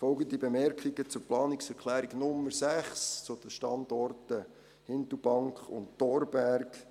Folgende Bemerkungen zur Planungserklärung 6 zu den Standorten Hindelbank und Thorberg: